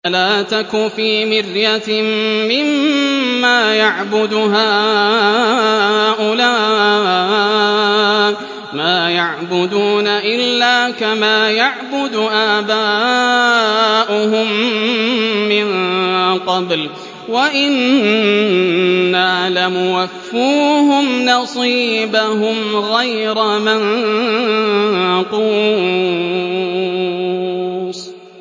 فَلَا تَكُ فِي مِرْيَةٍ مِّمَّا يَعْبُدُ هَٰؤُلَاءِ ۚ مَا يَعْبُدُونَ إِلَّا كَمَا يَعْبُدُ آبَاؤُهُم مِّن قَبْلُ ۚ وَإِنَّا لَمُوَفُّوهُمْ نَصِيبَهُمْ غَيْرَ مَنقُوصٍ